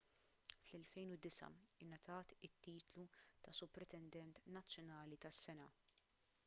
fl-2009 ingħatat it-titlu ta' supretendent nazzjonali tas-sena